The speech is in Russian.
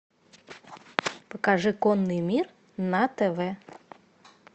покажи конный мир на тв